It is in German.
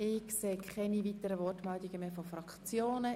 Ich sehe keine weiteren Wortmeldungen der Fraktionen.